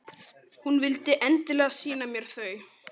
Hún vildi endilega sýna mér þau.